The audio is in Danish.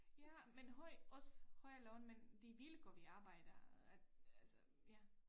Ja men høj også højere løn men de vilkår vi arbejder at altså ja